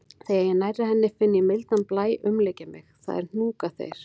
Þegar ég er nærri henni finn ég mildan blæ umlykja mig, það er hnúkaþeyr.